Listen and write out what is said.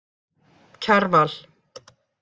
Kjarval